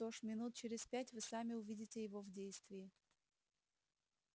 что ж минут через пять вы сами увидите его в действии